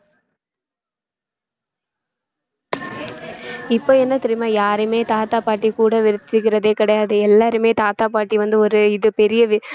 இப்ப என்ன தெரியுமா யாரையுமே தாத்தா பாட்டி கூட வெச்சுச்சுக்கிறதே கிடையாது எல்லாருமே தாத்தா பாட்டி வந்து ஒரு இது பெரிய